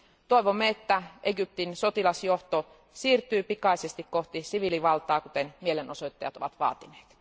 Toivomme, että Egyptin sotilasjohto siirtyy pikaisesti kohti siviilivaltaa, kuten mielenosoittajat ovat vaatineet.